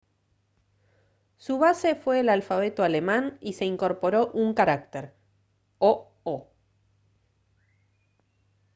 su base fue el alfabeto alemán y se incorporó un carácter: «õ/ õ»